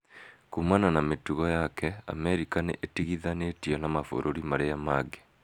Kuumana na mĩtugo yake, Amerika nĩ ĩtigithanĩtio na mabũrũri marĩa mangĩ.